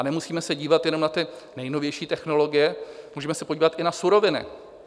A nemusíme se dívat jenom na ty nejnovější technologie, můžeme se podívat i na suroviny.